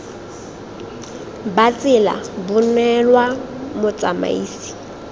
ba tsela bo neelwa motsamaisi